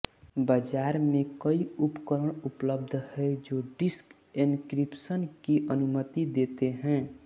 बाजार में कई उपकरण उपलब्ध हैं जो डिस्क एन्क्रिप्शन की अनुमति देते हैं